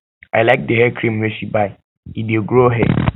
i like di hair cream wey she buy e dey grow hair